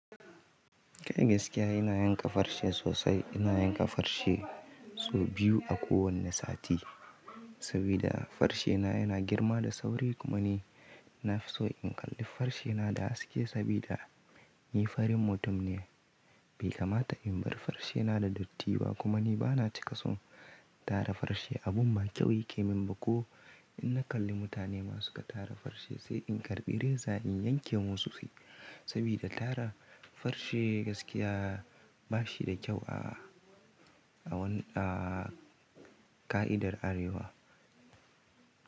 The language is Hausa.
Kai gaskiya ina yanka farse sosai. Ina yanka farse sau biyu a kowane sati sabida farsena yana girma da sauri kuma ni na fi so in kalli farsena da haske sabida ni farin mutum ne. Bai kamata in bar farsena da datti ba kuma ni ba na cika son tara farse. Abun ba kyau yake min ba ko in na kalli mutane masu ka tara farse sai in karɓi reza in yanke musu sai sabida tara farse gaskiya ba shi da kyau a, a wani a ƙa'idar Arewa.